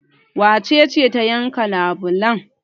Wace ce ta yanka labulan?